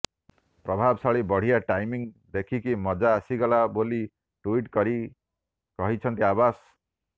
ପ୍ରଭାବଶାଳୀ ବଢିଆ ଟାଇମିଂ ଦେଖିକି ମଜା ଆସିଗଲା ବୋଲି ଟୁଇଟ୍ କରି କହିଛନ୍ତି ଅବାସ